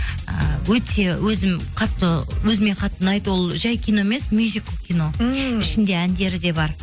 ы өте өзім қатты өзіме қатты ұнайды ол жай кино емес мюзикл кино ммм ішінде әндері де бар